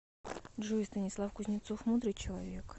джой станислав кузнецов мудрый человек